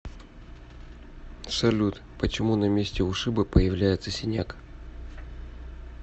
салют почему на месте ушиба появляется синяк